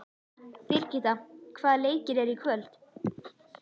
Birgitta, hvaða leikir eru í kvöld?